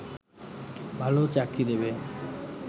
ভালো চাকরি দেবে